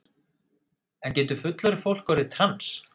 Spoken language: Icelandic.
En getur fullorðið fólk orðið trans?